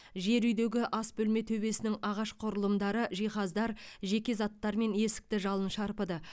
жер үйдегі асбөлме төбесінің ағаш құрылымдары жиһаздар жеке заттар мен есікті жалын шарпыды